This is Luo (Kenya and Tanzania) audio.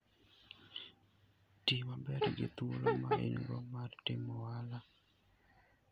Ti maber gi thuolo ma in-go mar timo ohala.